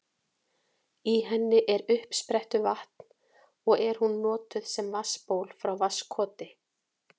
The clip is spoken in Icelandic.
Í henni er uppsprettuvatn og er hún notuð sem vatnsból frá Vatnskoti.